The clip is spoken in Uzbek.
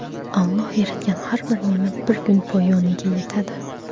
Alloh yaratgan har bir ne’mat bir kun poyoniga yetadi.